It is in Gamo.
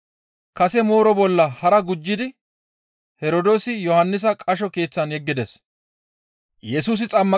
kase mooroza bolla hara gujjidi Herdoosi Yohannisa qasho keeththan yeggides.